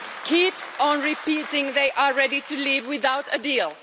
keeps on repeating they are ready to leave without a deal.